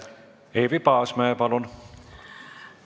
Eevi Paasmäe, palun!